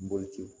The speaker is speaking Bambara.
Boloci